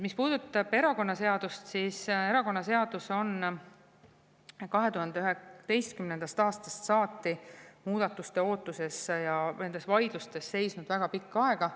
Mis puudutab erakonnaseadust, siis erakonnaseadus on 2011. aastast saati muudatuste ootuses ja nendes vaidlustes seisnud väga pikka aega.